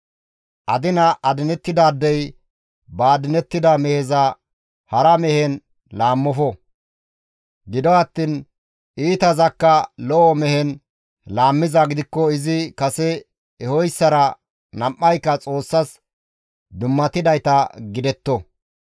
Adina adinettidaadey ba adinettida meheza hara mehen laammofo; gido attiin iitazakka lo7o mehen laammizaa gidikko izi kase ehoyssara nam7ayka Xoossas dummatidayta gidetto.